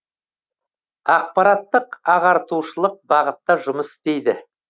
ақпараттық ағартушылық бағытта жұмыс істейді